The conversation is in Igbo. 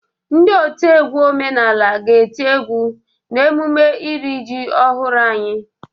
Ndị otiegwu omenala ga-eti egwu n' emume iri ji ọhụrụ anyị.